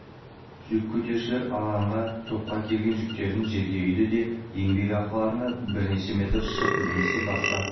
жүк көтерушілер алаңға тоқтап әкелген жүктерін жерге үйді де еңбек ақыларына бірнеше метр шыт немесе басқа